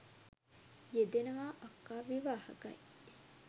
යෙදෙනවා අක්කා විවාහකයි.